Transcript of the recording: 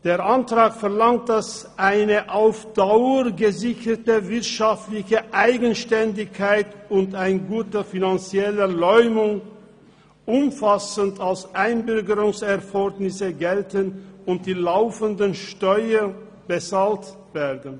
Der Antrag verlangt, dass eine auf Dauer gesicherte wirtschaftliche Eigenständigkeit und ein guter finanzieller Leumund umfassend als Einbürgerungserfordernisse gelten und die laufenden Steuern bezahlt werden.